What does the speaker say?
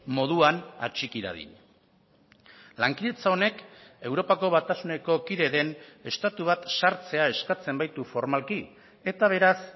moduan atxiki dadin lankidetza honek europako batasuneko kide den estatu bat sartzea eskatzen baitu formalki eta beraz